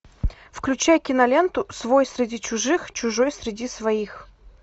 включай киноленту свой среди чужих чужой среди своих